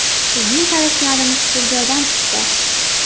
Bizning qarashlarimiz bir joydan chiqdi.